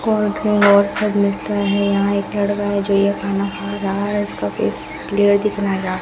और सब लटका है यहां एक लड़का है जो ये खाना खा रहा है उसका फेस क्लियर दिख रहा ।